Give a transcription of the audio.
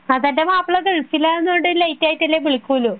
മാപ്ല ഗൾഫിൽ ആയോണ്ട് ലേറ്റ് ആയിട്ടല്ലേ വിളിക്കുള്ളൂ